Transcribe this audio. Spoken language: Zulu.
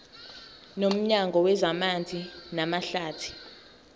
nomnyango wezamanzi namahlathi